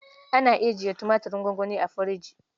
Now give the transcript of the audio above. Ana ajiye tumaturin gwangwani a firji.